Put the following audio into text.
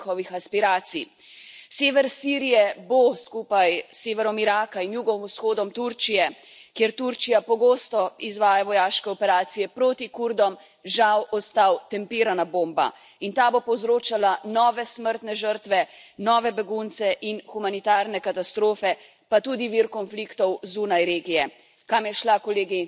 Sever Sirije bo skupaj s severom Iraka in jugovzhodom Turčije, kjer Turčija pogosto izvaja vojaške operacije proti Kurdom, žal ostal tempirana bomba in ta bo povzročala nove smrtne žrtve, nove begunce in humanitarne katastrofe pa tudi vir konfliktov zunaj regije. Kam je šla, kolegi, naša humanost?